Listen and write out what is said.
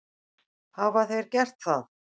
Hafa þeir gert það?